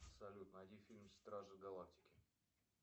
салют найди фильм стражи галактики